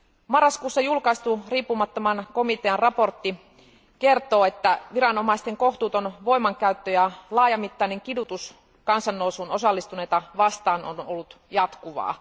Marraskuussa julkaistu riippumattoman komitean raportti kertoo, että viranomaisten kohtuuton voimankäyttö ja laajamittainen kidutus kansannousuun osallistuneita vastaan on ollut jatkuvaa.